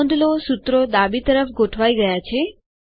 નોંધ લો સૂત્રો ડાબી તરફ ગોઠવાય ગયા છે